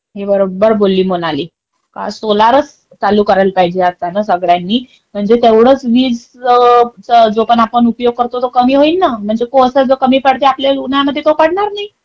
हे बरोबर बोलली, मोनाली. का सोलारच चालू करायला पाहिजे आता ना सगळ्यांनी म्हणजे तेवढेच विजेचा जो पण आपण उपयोग करतो कमी होईन ना. म्हणजे कोळसा जो कमी पडतो आपल्याल उन्हामध्ये तो कमी पडणार नाही.